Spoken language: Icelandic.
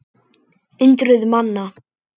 Hundruð manna.